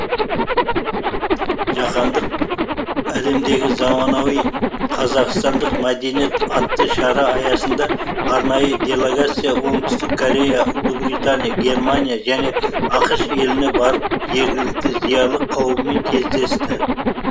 жаһандық әлемдегі заманауи қазақстандық мәдениет атты шара аясында арнайы делегация оңтүстік корея ұлыбритания германия және ақш еліне барып жергілікті зиялы қауыммен кездесті